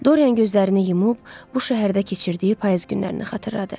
Dorian gözlərini yumub, bu şəhərdə keçirdiyi payız günlərini xatırladı.